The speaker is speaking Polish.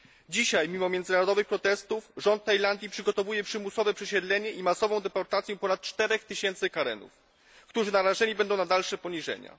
Dzisiaj mimo międzynarodowych protestów rząd Tajlandii przygotowuje przymusowe przesiedlenie i masową deportację ponad 4 tysięcy Karenów, którzy narażeni będą na dalsze poniżenia.